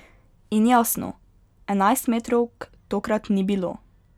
In jasno, enajstmetrovk tokrat ni bilo ...